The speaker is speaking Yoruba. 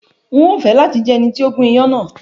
N o fẹ lati jẹ ẹni ti o gún iyán náà